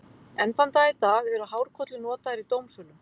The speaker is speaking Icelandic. Enn þann dag í dag eru hárkollur notaðar í dómsölum.